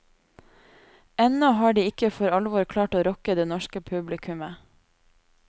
Ennå har de ikke for alvor klart å rocke det norske publikummet.